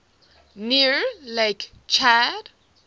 near lake chad